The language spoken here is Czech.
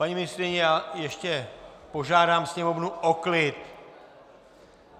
Paní ministryně, já ještě požádám sněmovnu o klid.